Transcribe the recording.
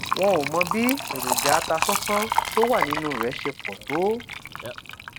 wón ò mọ bí èròjà atasánsán tó wà nínú rè ṣe pò tó